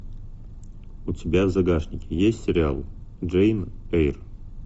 у тебя в загашнике есть сериал джейн эйр